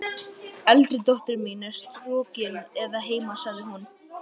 Eldri dóttir mín er strokin að heiman, sagði hún.